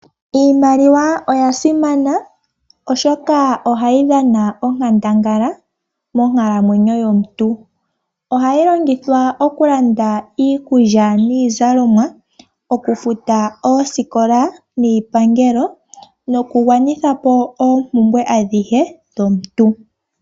Iimaliwa oya simana oshoka ohayi dhana onkandangala monkalamwenyo yomuntu . Ohayi longithwa okulanda iikulya niizalomwa, okufuta oosikola